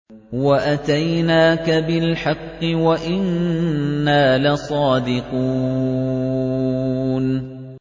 وَأَتَيْنَاكَ بِالْحَقِّ وَإِنَّا لَصَادِقُونَ